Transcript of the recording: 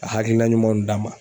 a hakilina ɲumanw d'an ma.